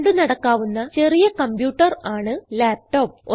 കൊണ്ട് നടക്കാവുന്ന ചെറിയ കംപ്യൂട്ടർ ആണ് ലാപ്ടോപ്സ്